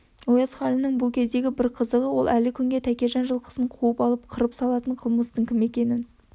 ояз халінің бұл кездегі бір қызығы ол әлі күнге тәкежан жылқысын қуып алып қырып салатын қылмыстының кім екенін